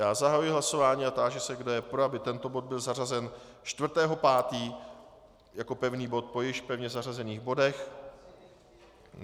Já zahajuji hlasování a táži se, kdo je pro, aby tento bod byl zařazen 4. 5. jako pevný bod po již pevně zařazených bodech.